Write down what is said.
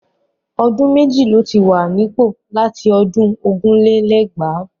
Ọdún méjì ló ti wà nípò láti ọdún ogún lé lẹ́gbàá.